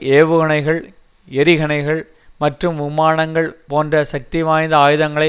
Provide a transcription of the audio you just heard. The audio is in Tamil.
ஏவுகனைகள் எறிகணைகள் மற்றும் விமானங்கள் போன்ற சக்திவாய்ந்த ஆயுதங்களை